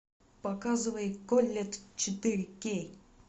показывай колетт четыре кей